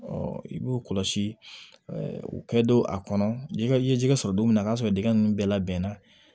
i b'u kɔlɔsi u kɛ don a kɔnɔ i ye jɛgɛ sɔrɔ don min na o y'a sɔrɔ dingɛ ninnu bɛɛ labɛn na